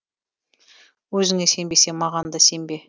өзіңе сенбесең маған да сенбе